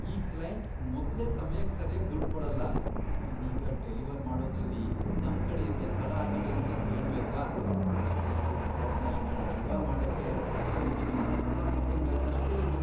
ಈ ಕ್ಲೈಂಟ್ ಮೊದ್ಲೇ ಸಮಯಕ್ ಸರ್ಯಾಗ್ ದುಡ್ಡ್ ಕೊಡಲ್ಲ, ಇನ್ನೀಗ ಡೆಲಿವರ್ ಮಾಡೋದ್ರಲ್ಲಿ ನಮ್ಕಡೆಯಿಂದ್ಲೇ ತಡ ಆಗಿದೆ ಅಂದ್ರೆ ಕೇಳ್ಬೇಕಾ, ನಮ್ಗ್ ದುಡ್ಡ್ ಕೊಡೋದ್ನ ಇನ್ನೊಂದ್ ಯುಗ ಮಾಡಕ್ಕೆ ಅವ್ನಿಗಿನ್ನೊಂದ್ ನೆಪ ಸಿಕ್ಕಂಗಾಯ್ತಷ್ಟೇ ಇದು!